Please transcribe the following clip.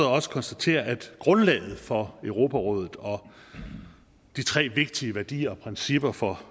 også konstatere at grundlaget for europarådet og de tre vigtige værdier og principper for